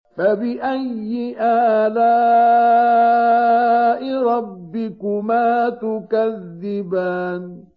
فَبِأَيِّ آلَاءِ رَبِّكُمَا تُكَذِّبَانِ